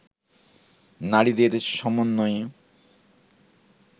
নারীদের সমন্বয়ে